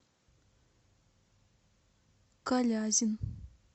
калязин